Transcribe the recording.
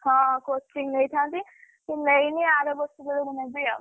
ହଁ coaching ନେଇଥାନ୍ତି, ନେଇନି ଆରବର୍ଷ ବେଳକୁ ନେବି ଆଉ।